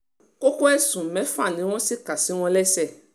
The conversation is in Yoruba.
kókó ẹ̀sùn mẹ́fà ni wọ́n sì kà sí wọn lẹ́sẹ̀